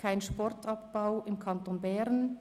«Kein Sportabbau im Kanton Bern».